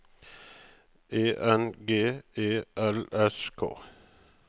E N G E L S K